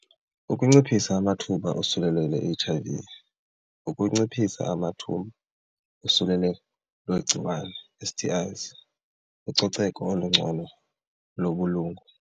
Ukunciphisa amathuba osulelo lwe-H_I_V, ukunciphisa amathuba osuleleko lwegciwane S_T_Is, ucoceko olungcono lobulungu.